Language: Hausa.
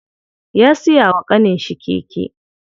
Ya siya wa ƙaninshi keke.